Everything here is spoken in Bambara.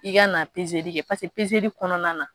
I ka na li kɛ li kɔnɔna na